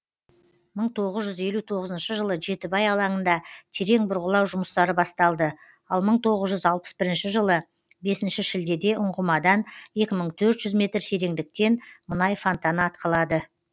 мың тоғыз жүз елу тоғызыншы жылы жетібай алаңында терең бұрғылау жұмыстары басталды ал мың тоғыз жүз алпыс бірінші жылы бесінші шілдеде ұңғымадан екі мың төрт жүз метр тереңдіктен мұнай фонтаны атқылады